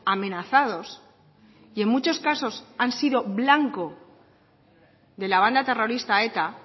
amenazados y en muchos casos han sido blanco de la banda terrorista eta